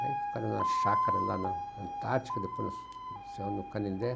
Aí ficaram na chácara lá na Antártica, depois no canindé.